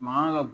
Mankan ka bon